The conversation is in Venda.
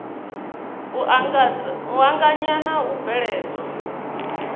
u anganya na u bveledzwa